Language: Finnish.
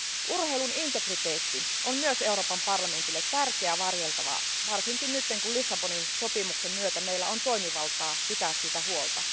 Urheilun integriteetti on myös Euroopan parlamentille tärkeä varjeltava asia, varsinkin nyt kun Lissabonin sopimuksen myötä meillä on toimivaltaa pitää siitä huolta.